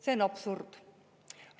See on absurd!